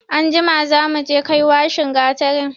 Anjima za mu kai washin gatarin.